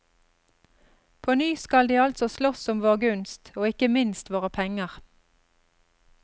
På ny skal de altså slåss om vår gunst, og ikke minst våre penger.